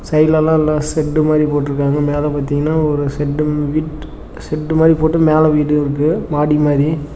சைடுல எல்லா நா செட்டு மாரி போட்டுருக்காங்க மேல பாத்தீங்கன்னா ஒரு செட்டு விட் செட்டு மாரி போட்டு மேல வீடு இருக்கு மாடி மாரி.